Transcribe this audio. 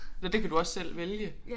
Eller det kan du også selv vælge